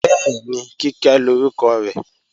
Bẹ́ẹ̀ni, Kíkẹ́ lórúkọ rẹ̀